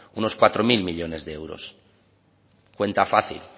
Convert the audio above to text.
unos cuatro mil millónes de euros cuenta fácil